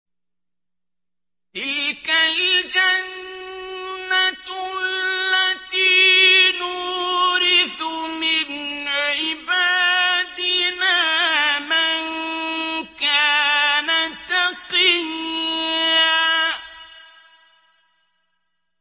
تِلْكَ الْجَنَّةُ الَّتِي نُورِثُ مِنْ عِبَادِنَا مَن كَانَ تَقِيًّا